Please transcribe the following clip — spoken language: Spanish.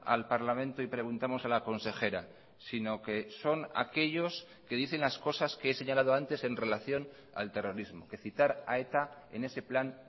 al parlamento y preguntamos a la consejera sino que son aquellos que dicen las cosas que he señalado antes en relación al terrorismo que citar a eta en ese plan